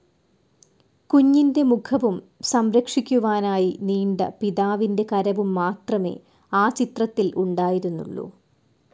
കുഞ്ഞിന്റെ മുഖവും സം‌രക്ഷിക്കുവാനായി നീണ്ട പിതാവിന്റെ കരവും മാത്രമേ ആ ചിത്രത്തിൽ ഉണ്ടായിരുന്നുള്ളൂ.